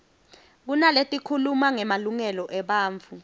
kunaletikhuluma ngemalungelo ebantfu